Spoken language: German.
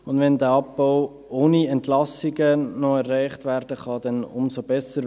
Wenn dieser Abbau noch ohne Entlassungen erreicht werden kann, umso besser.